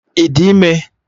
Ị dị ime?